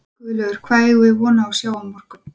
Guðlaugur, hvað eigum við von á að sjá á morgun?